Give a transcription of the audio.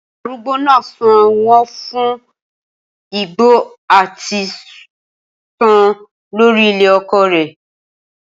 Arugbo naa san wọn fun igbo ati sun lori ilẹ oko rẹ